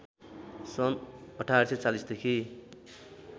सन् १८४० देखि